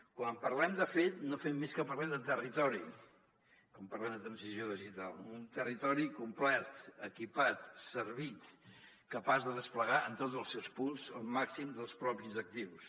quan en parlem de fet no fem més que parlar de territori quan parlem de transició digital un territori complet equipat servit capaç de desplegar en tots els seus punts el màxim dels propis actius